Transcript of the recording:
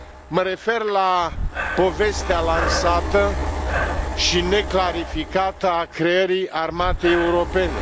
Mă refer la povestea lansată și neclarificată a creării armatei europene.